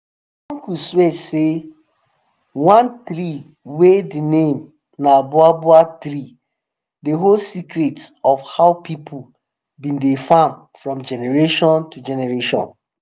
my uncle swear say one tree wey de name na boabab tree dey hold secrets of how people been dey farm from generation to generation